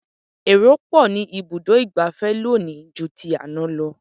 Èrò pọ̀ ní ibùdó ìgbafẹ́ lónìí ju ti àná lọ.